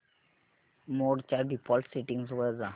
मोड च्या default settings वर जा